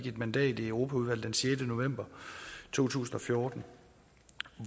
et mandat i europaudvalget den sjette november to tusind og fjorten